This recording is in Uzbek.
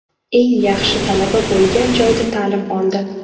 Eng yaxshi talaba bo‘lgan joyda ta’lim oldi.